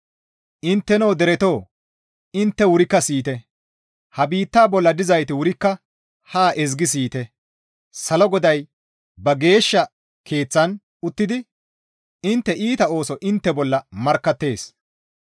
Intteno deretoo; intte wurikka siyite! Ha biitta bolla dizayti wurikka haa ezgi siyite; salo GODAY ba geeshsha keeththaan uttidi intte iita oosoza intte bolla markkattees.